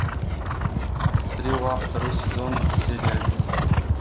стрела второй сезон серия один